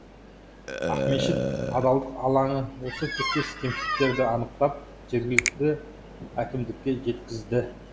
ақмешіт адалдық алаңы осы тектес кемшіліктерді анықтап жергілікті әкімдікке жеткізді